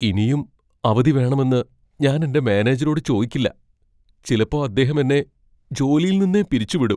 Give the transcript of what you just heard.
ഇനിയും അവധി വേണമെന്ന് ഞാൻ എന്റെ മാനേജരോട് ചോയ്ക്കില്ല. ചിലപ്പോ അദ്ദേഹം എന്നെ ജോലിയിൽ നിന്നേ പിരിച്ചുവിടും.